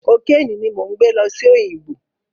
Kokéènì ni mò ń gbẹ́ lọ sí Òyìngbò.